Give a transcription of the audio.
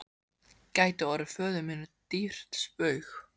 gæti orðið föður mínum dýrt spaug.